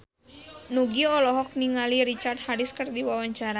Nugie olohok ningali Richard Harris keur diwawancara